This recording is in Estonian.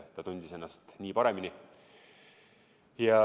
Ta tundis ennast nii paremini.